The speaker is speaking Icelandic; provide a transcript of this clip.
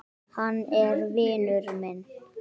Hann er vinur minn